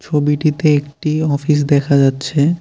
ছবিটিতে একটি অফিস দেখা যাচ্ছে।